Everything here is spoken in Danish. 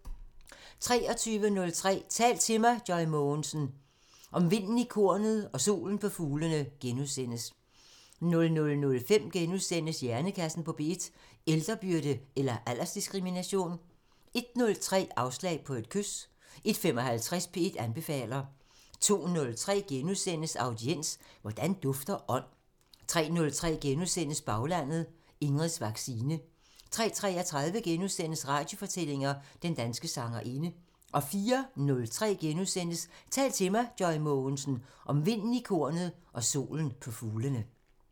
23:03: Tal til mig – Joy Mogensen: Om vinden i kornet og solen på fuglene * 00:05: Hjernekassen på P1: Ældrebyrde eller aldersdiskrimination? * 01:03: Afslag på et kys 01:55: P1 anbefaler 02:03: Audiens: Hvordan dufter ånd? * 03:03: Baglandet: Ingrids vaccine * 03:33: Radiofortællinger: Den danske sangerinde * 04:03: Tal til mig – Joy Mogensen: Om vinden i kornet og solen på fuglene *